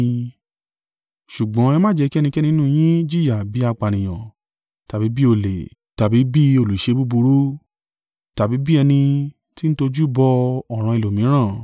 Ṣùgbọ́n ẹ má jẹ́ kí ẹnikẹ́ni nínú yín jìyà bí apànìyàn, tàbí bí olè, tàbí bí olùṣe búburú, tàbí bí ẹni tí ń tojú bọ̀ ọ̀ràn ẹlòmíràn.